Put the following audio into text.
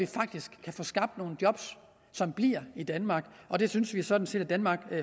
faktisk kan få skabt nogle job som bliver i danmark det synes vi sådan set at danmark